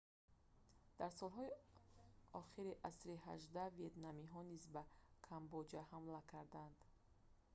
дар солҳои охири асри 18 ветнамиҳо низ ба камбоҷа ҳамла карданд